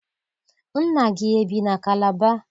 Nna gị ebi na Kalaba?